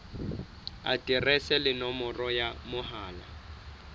aterese le nomoro ya mohala